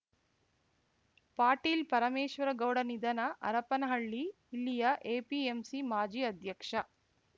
ಪಾಟೀಲ್‌ ಪರಮೇಶ್ವರಗೌಡ ನಿಧನ ಹರಪನಹಳ್ಳಿ ಇಲ್ಲಿಯ ಎಪಿಎಂಸಿ ಮಾಜಿ ಅಧ್ಯಕ್ಷ